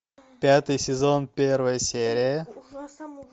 пятый сезон первая серия